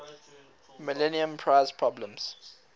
millennium prize problems